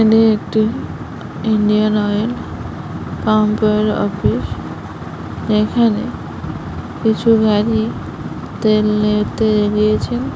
এখানে একটি Indian oil pump এর অফিস । এখানে কিছু গাড়ি তেল নিয়ে গিয়েছে ।